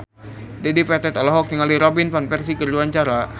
Dedi Petet olohok ningali Robin Van Persie keur diwawancara